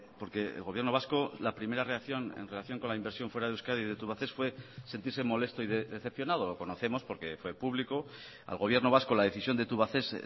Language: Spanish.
porque el gobierno vasco la primera reacción en relación con la inversión fuera de euskadi de tubacex fue sentirse molesto y decepcionado lo conocemos porque fue público al gobierno vasco la decisión de tubacex